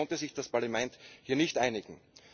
Leider konnte sich das Parlament hier nicht einigen.